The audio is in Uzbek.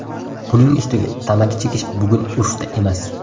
Buning ustiga tamaki chekish bugun urfda emas.